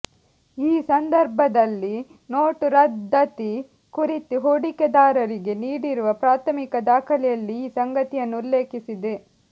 ಈ ಸಂದರ್ಭದಲ್ಲಿ ನೋಟು ರದ್ದತಿ ಕುರಿತು ಹೂಡಿಕೆದಾರರಿಗೆ ನೀಡಿರುವ ಪ್ರಾಥಮಿಕ ದಾಖಲೆಯಲ್ಲಿ ಈ ಸಂಗತಿಯನ್ನು ಉಲ್ಲೇಖಿಸಿದೆ